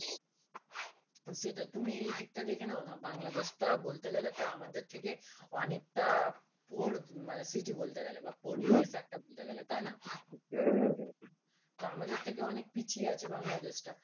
সেইটা তুমি এই দিকটা দেখে নাও না বাংলাদেশটা বলতে গেলে তো আমাদের থেকে অনেকটা poor city বলতে গেলে বা poor দেশ একটা বলতে গেলে তাই না হ্যাঁ হ্যাঁ হ্যাঁ, তা আমাদের থেকে অনেক পিছিয়ে আছে বাংলাদেশটা